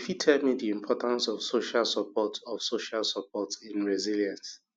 you fit tell me di importance of social support of social support in resilience